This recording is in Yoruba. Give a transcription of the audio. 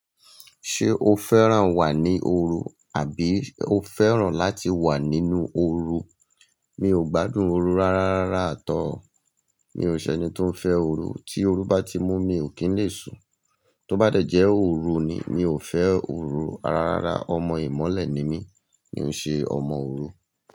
Ṣé o fẹ́ràn wà ní òru, àbí o fẹ́ràn láti wà nínú òru? Mi ò gbádùn òru rárárá rà tọ́. Mi ò ṣẹni tó ń fẹ́ òru, tí òru bá ti mú mi, mi ò kí ń lè sùù. Tó bá dẹ̀jẹ́ òru ni, mi ò fẹ́ òru rárárá, ọmọ ìmọ́lẹ̀ ni mí, mi ò ṣe ọmọ òru.